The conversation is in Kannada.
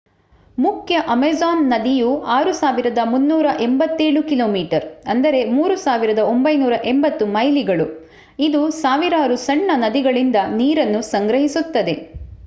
ಮುಖ್ಯ ಅಮೆಜಾನ್ ನದಿಯು 6,387 ಕಿಮೀ 3,980 ಮೈಲಿಗಳು. ಇದು ಸಾವಿರಾರು ಸಣ್ಣ ನದಿಗಳಿಂದ ನೀರನ್ನು ಸಂಗ್ರಹಿಸುತ್ತದೆ